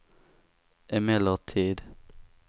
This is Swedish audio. emellertid